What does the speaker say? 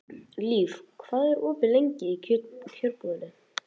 Líf, hvað er opið lengi í Kjörbúðinni?